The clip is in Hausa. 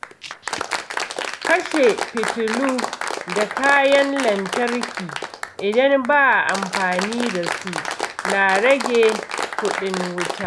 Kashe fitilu da kayan lantarki idan ba a amfani da su na rage kudin wuta.